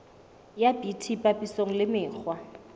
ya bt papisong le mekgwa